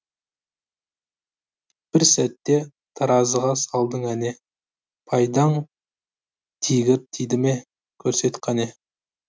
бір сәтте таразыға салдың әне пайдаң тигір тиді ме көрсет қане